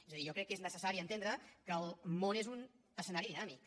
és a dir jo crec que és necessari entendre que el món és un escenari dinàmic